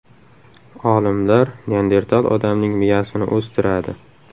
Olimlar neandertal odamning miyasini o‘stiradi.